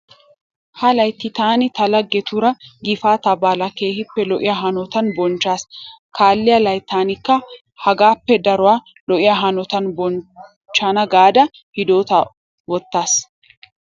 Ha layitti taani ta laggetuura gifaataa baalaa keehippe lo'iya hanotan bonichchaas. Kaalliya layittankka hagaappe daruwa lo'iya hanotan bonichchana gaada hidoota wottayiis.